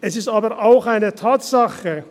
Es ist aber auch eine Tatsache.